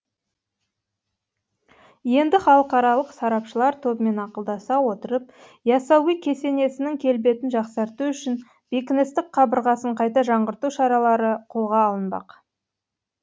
енді халықаралық сарапшылар тобымен ақылдаса отырып ясауи кесенесінің келбетін жақсарту үшін бекіністік қабырғасын қайта жаңғырту шаралары қолға алынбақ